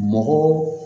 Mɔgɔ